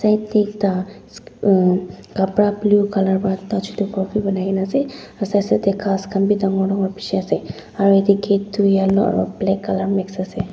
back tey ekta mm kapra blue colour para touch ghor b painai kena ase side side ghas khan b dangor dangor bishi ase aro etey gate toh yellow aro black colour mixed ase.